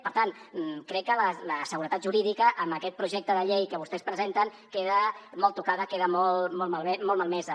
per tant crec que la seguretat jurídica amb aquest projecte de llei que vostès presenten queda molt tocada queda molt malmesa